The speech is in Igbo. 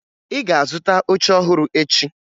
Ị ga-azụta oche ọhụrụ echi!